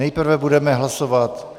Nejprve budeme hlasovat...